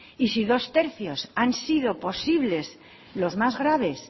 y si dos tercios han sido posibles los más graves